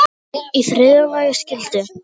Í þriðja lagi skyldi